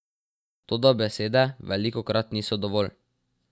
Toda besede velikokrat niso dovolj.